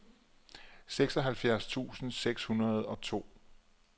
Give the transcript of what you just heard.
seksoghalvfjerds tusind seks hundrede og to